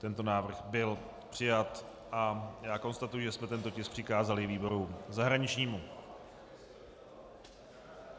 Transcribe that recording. Tento návrh byl přijat a já konstatuji, že jsme tento tisk přikázali výboru zahraničnímu.